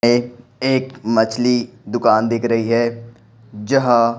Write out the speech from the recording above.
में एक मछली दुकान दिख रही है जहां--